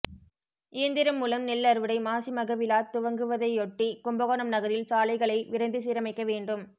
இயந்திரம் மூலம் நெல்அறுவடை மாசிமக விழா துவங்குவதையொட்டி கும்பகோணம் நகரில் சாலைகளை விரைந்து சீரமைக்க வேண்டும்